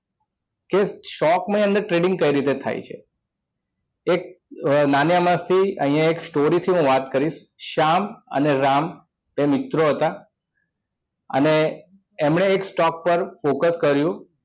કે શોખ મય અંદર trading કેવી રીતે થાય છે એક નાની અમસ્તી અહિયાં story થી હું વાત કરીશ શ્યામ અને રામ એ મિત્ર હતા અને એમને એક stock પર focus કર્યું